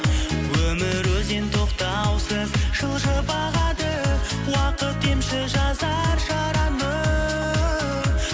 өмір өзен тоқтаусыз жылжып ағады уақыт емші жазар жараны